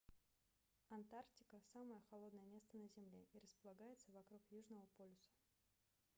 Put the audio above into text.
антарктика самое холодное место на земле и располагается вокруг южного полюса